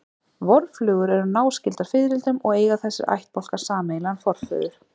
Vorflugur eru náskyldar fiðrildum og eiga þessir ættbálkar sameiginlegan forföður.